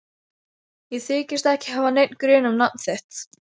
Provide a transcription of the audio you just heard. Ég þykist ekki hafa neinn grun um nafn þitt.